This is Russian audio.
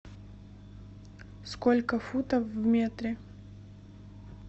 сколько футов в метре